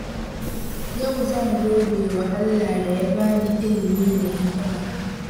Yau zan godewa Allah da ya bani ilimi da hikima.